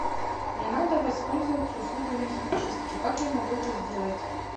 мне надо воспользоваться услугами химчистки как я могу это сделать